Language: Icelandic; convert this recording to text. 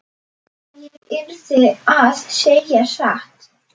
Ég yrði að segja satt.